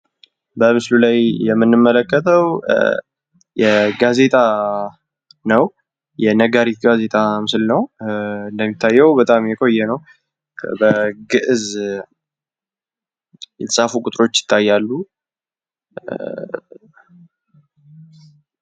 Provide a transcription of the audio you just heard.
በምስሉ ላይ የምንመለከተው የጋዜጣ ነው። የነጋሪት ጋዜጣ ምስል ነው በጣም የቆየ ነው በግዕዝ የተጻፉ ቁጥሮች ይታያሉ።